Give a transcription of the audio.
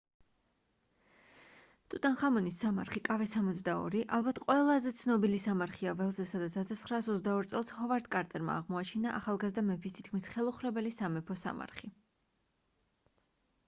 ტუტანხამონის სამარხი kv62. kv62 ალბათ ყველაზე ცნობილი სამარხია ველზე სადაც 1922 წელს ჰოვარდ კარტერმა აღმოაჩინა ახალგაზრდა მეფის თითქმის ხელუხლებელი სამეფო სამარხი